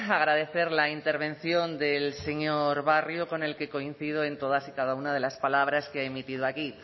agradecer la intervención del señor barrio con el que coincido en todas y cada una de las palabras que ha emitido aquí